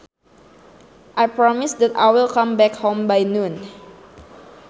I promise that I will come back home by noon